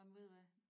Ej men ved du hvad